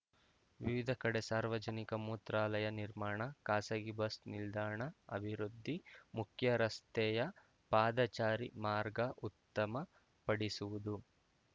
ವಿವಿಧ ಕಡೆ ಸಾರ್ವಜನಿಕ ಮೂತ್ರಾಲಯ ನಿರ್ಮಾಣ ಖಾಸಗಿ ಬಸ್‌ ನಿಲ್ದಾಣ ಅಭಿವೃದ್ಧಿ ಮುಖ್ಯರಸ್ತೆಯ ಪಾದಚಾರಿ ಮಾರ್ಗ ಉತ್ತಮ ಪಡಿಸುವುದು